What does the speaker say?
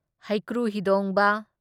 ꯍꯩꯀ꯭ꯔꯨ ꯍꯤꯗꯣꯡꯕ